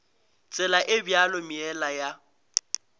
tsela e bjalo meela ya